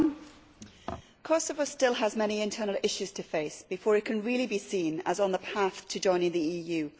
Madam President, Kosovo still has many internal issues to face before it can really be seen as on the path to joining the EU.